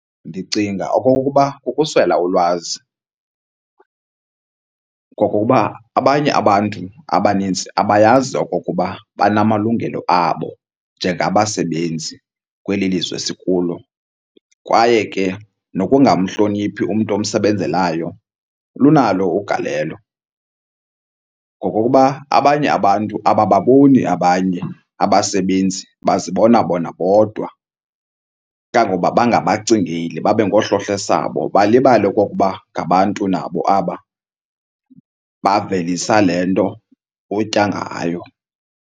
Ndicinga okokuba kukuswela ulwazi. Ngokuba abanye abantu abanintsi abayazi okokuba banamalungelo abo njengabasebenzi kweli lizwe sikulo. Kwaye ke nokungamhloniphi umntu omsebenzelayo kunalo ugalelo, ngokokuba abanye abantu abababoni abanye abasebenzi bazibona bona bodwa. Kangangokuba bangabacingeli babe ngohlohlesabo balibale okokuba ngabantu nabo aba bavelisa le nto utya ngayo.